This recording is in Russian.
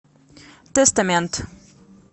тэстамент